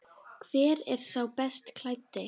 Hver er sá best klæddi?